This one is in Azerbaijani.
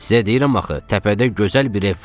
Sizə deyirəm axı, təpədə gözəl bir ev var.